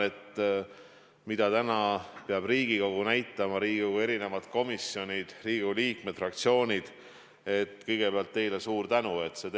Jah, see tempo, mida Riigikogu, Riigikogu komisjonid, Riigikogu liikmed ja fraktsioonid – kõigepealt teile suur tänu!